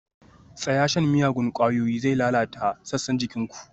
Tsaya! shan miyagun ƙwayoyi zai lalata sassan jikin ku